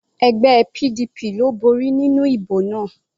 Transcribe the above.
Ẹgbẹ́ PDP ló borí nínú ìbò náà.